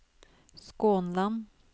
Skånland